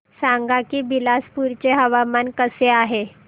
सांगा की बिलासपुर चे हवामान कसे आहे